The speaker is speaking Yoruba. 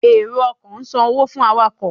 ero-ọkọ san owo fún awakọ.